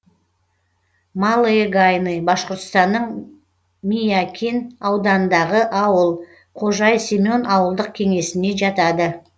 малые гайны башқұртстанның миякин ауданындағы ауыл кожай семен ауылдық кеңесіне жатады